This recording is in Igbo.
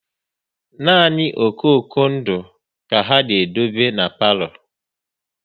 Nani okoko ndụ ka ha na-edobe n'palo